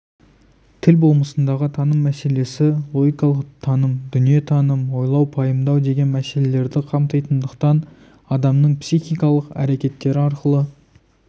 тіл болмысындағы таным мәселесі логикалық таным дүниетаным ойлау пайымдау деген мәселелерді қамтитындықтан адамның психикалық әрекеттері арқылы